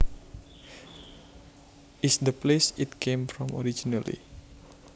is the place it came from originally